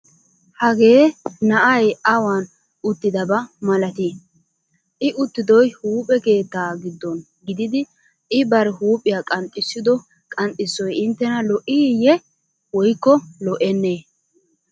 Hagee na'ay awan uttidaba malatii? I uttidoy huuphee keettaa giddon gididi I bari huuphiya qanxxissido qanxxissoy inttena lo'iiyye woykko lo'ennee?